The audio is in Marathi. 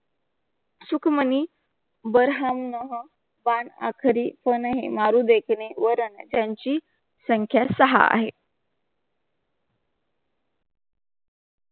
सुखमांही बर्हानना पान आखरी पण आहे मारू देखणे वर आणा त्यांची संख्या सा आहे.